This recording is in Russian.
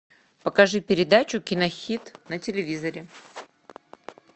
покажи передачу кинохит на телевизоре